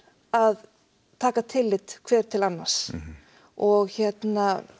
að taka tillit hver til annars og hérna